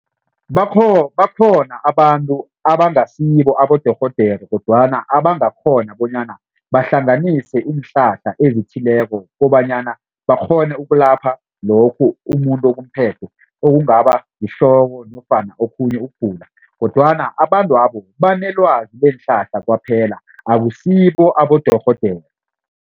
Bakhona abantu abangasibo abodorhodere kodwana abangakghona bonyana bahlanganise iinhlahla ezithileko kobanyana bakghone ukulapha lokhu umuntu okumphethe okungaba yihloko nofana okhunye ukugula kodwana abantwabo banelwazi leenhlahla kwaphela akusibo abodorhodere.